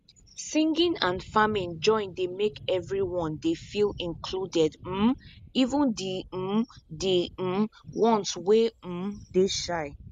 singing and farming join dey make everyone dey feel included um even de um de um ones wey um dey shy